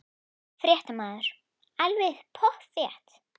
Fréttamaður: Alveg pottþétt?